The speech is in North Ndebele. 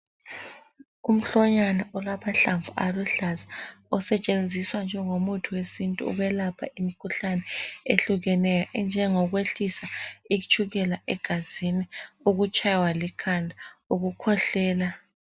Umhlonyana olamahlamvu aluhlaza osetshenziswa njengomuthi wesiNtu ukwelapha imikhuhlane ehlukeneyo enjengokwehlisa itshukela egazini okutshaywa likhanda ukukhwehlela.